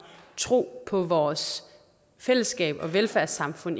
tro på vores fællesskab og velfærdssamfund